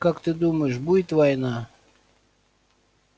как ты думаешь будет война